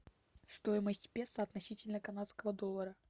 стоимость песо относительно канадского доллара